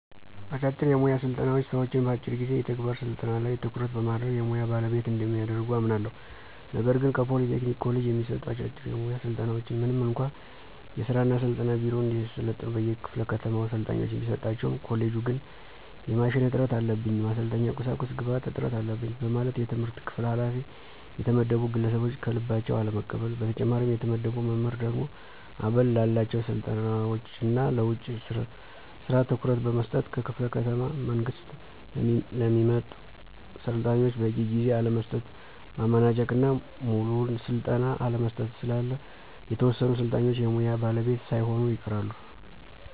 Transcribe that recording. አጫጭር የሙያ ስልጠናዎች ሰዎችን በአጭር ጊዜ የተግባር ስልጠና ላይ ትኩረት በማድረግ የሙያ ባለቤት እንደሚያደርጉ አምናለሁ። ነገር ግን ከፖሊ ቴክኒክ ኮሌጅ የሚሰጡ አጫጭር የሙያ ስልጠናዎች ምንም እንኳ የሥራ እና ስልጠና ቢሮ እንዲያሰለጥኑ ከየክፋለ ከተማው ሰልጣኞችን ቢሰጣቸውም ኮሌጁ ግን የማሽን እጥረት አለብኝ፣ የማሰልጠኛ ቁሳቁስ ግብአት እጥረት አለበኝ በማለት የትምህርት ክፍል ኋላፊ የተመደቡ ግለሰቦች ከልባቸው አለመቀበል። በተጨማሪም የተመደበው መምህር ደግሞ አበል ላላቸው ስልጠናዎች እና ለውጭ ስራ ትኩረት በመስጠት ከክፍለ ከተማ በመንግስት ለሚመጡ ሰልጣኞች በቂ ጊዜ አለመስጠት፣ ማመናጨቅ እና ሙሉውን ስልጠና አለመስጠት ስላለ የተወሰኑ ሰልጣኞች የሙያ ባለቤት ሳይሆኑ ይቀራሉ።